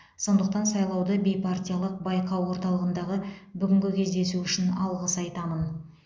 сондықтан сайлауды бейпартиялық байқау орталығындағы бүгінгі кездесу үшін алғыс айтамын